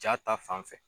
Ja ta fanfɛ